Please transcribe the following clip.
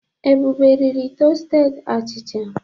Ebube riri tọsteded achịcha.